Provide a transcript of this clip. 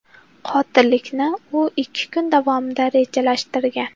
Qotillikni u ikki kun davomida rejalashtirgan.